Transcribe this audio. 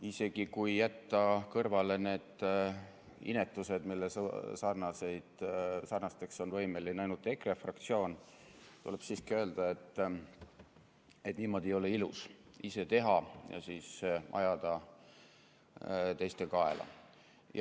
Isegi kui jätta kõrvale need inetused, millisteks on võimeline ainult EKRE fraktsioon, tuleb siiski öelda, et niimoodi ei ole ilus – ise teha ja siis ajada teiste kaela.